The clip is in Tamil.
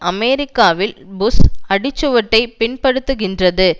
அமெரிக்காவில் புஷ் அடிச்சுவட்டை பின்பற்றுகின்றது